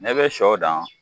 Ne bɛ sɔ da